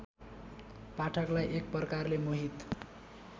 पाठकलाई एकप्रकारले मोहित